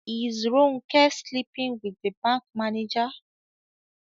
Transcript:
Is Ronke sleeping with the bank manager?